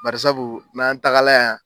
Bari sabu n'an tagala yan